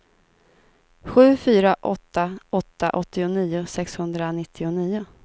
sju fyra åtta åtta åttionio sexhundranittionio